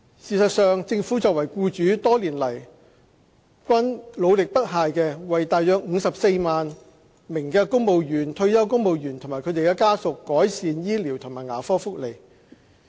事實上，政府作為僱主，多年來均努力不懈為大約54萬名公務員、退休公務員及他們的家屬改善醫療和牙科福利。